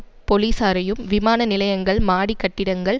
பொலிசாரையும் விமான நிலையங்கள் மாடிக் கட்டிடங்கள்